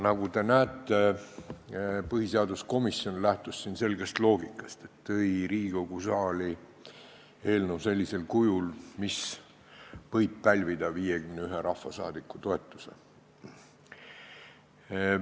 Nagu te näete, põhiseaduskomisjon lähtus siin selgest loogikast ja tõi Riigikogu saali eelnõu sellisel kujul, mis võib pälvida 51 rahvasaadiku toetuse.